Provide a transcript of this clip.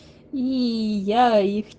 ии я их